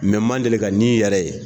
Mɛ man deli ka nin yɛrɛ ye